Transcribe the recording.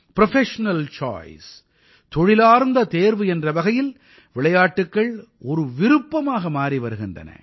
professional choice தொழிலார்ந்த தேர்வு என்ற வகையில் விளையாட்டுக்கள் ஒரு விருப்பமாக மாறி வருகிறது